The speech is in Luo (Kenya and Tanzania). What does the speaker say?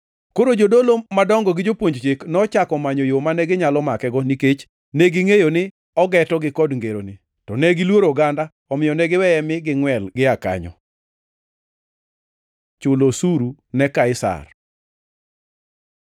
Koro jodolo madongo gi jopuonj Chik nochako manyo yo mane ginyalo makego nikech negingʼeyo ni ogetogi kod ngeroni. To negiluoro oganda, omiyo ne giweye mi gingʼwel gia kanyo. Chulo osuru ne Kaisari